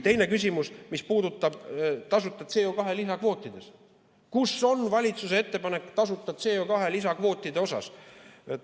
Teine küsimus, mis puudutab CO2 tasuta lisakvoote: kus on valitsuse ettepanek CO2 tasuta lisakvootide kohta?